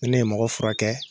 Ni ne ye mɔgɔ furakɛ